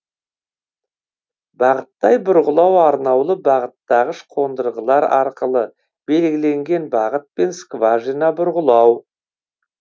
бағыттай бұрғылау арнаулы бағыттағыш қондырғылар арқылы белгіленген бағытпен скважина бұрғылау